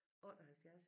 78